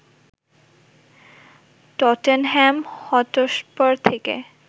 Tottenham Hotspur থেকে